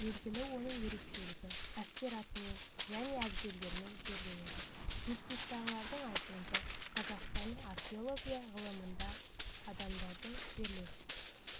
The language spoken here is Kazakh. белгілі оның ерекшелігі әскер атымен және әбзелдерімен жерленеді институттағылардың айтуынша қазақстанның археология ғылымында адамдардың жерлеу